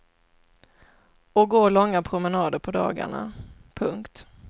Och gå långa promenader på dagarna. punkt